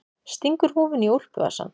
Stingur húfunni í úlpuvasann.